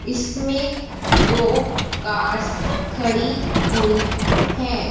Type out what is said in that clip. इसमें दो कार्स खड़ी हुई हैं।